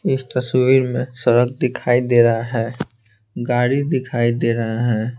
इस तस्वीर में सड़क दिखाई दे रहा है गाड़ी दिखाई दे रहा है।